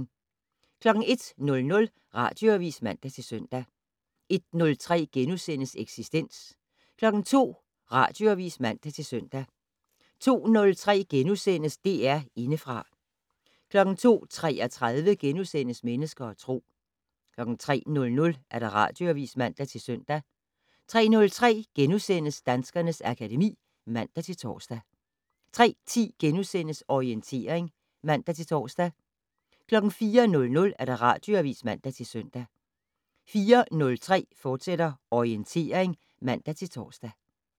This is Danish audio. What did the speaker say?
01:00: Radioavis (man-søn) 01:03: Eksistens * 02:00: Radioavis (man-søn) 02:03: DR Indefra * 02:33: Mennesker og Tro * 03:00: Radioavis (man-søn) 03:03: Danskernes akademi *(man-tor) 03:10: Orientering *(man-tor) 04:00: Radioavis (man-søn) 04:03: Orientering, fortsat (man-tor)